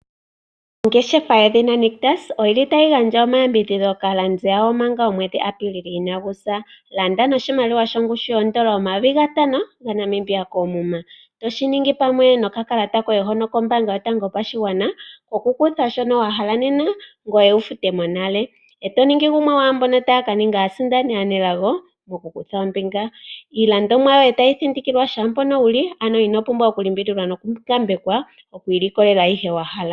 Ongeshefa yedhina Nictus otayi gandja omayambidhidho kaalandi yawo manga omwedhi Apilili inagu sa. Landa noshimaliwa shongushu yoodola omayovi gatano gaNamibia koomuma toshi ningi nokakalata koye kombaanga yotango yopashigwana okukutha shono wa hala nena ngoye to ya wu fute nale. E to ningi gumwe gomwaa mboka taya ka ninga aasindani aanelago mokukutha ombinga, iilandomwa yoye tayi thindikilwa shaa mpoka wu li, ano ino pumbwa okulimbililwa nokungambekwa oku ilikolela ayihe wa hala.